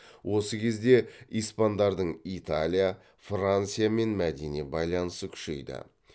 осы кезде испандарның италия франциямен мәдени байланысы күшейді